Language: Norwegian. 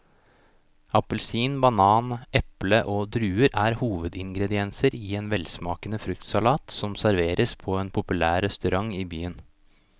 Appelsin, banan, eple og druer er hovedingredienser i en velsmakende fruktsalat som serveres på en populær restaurant i byen.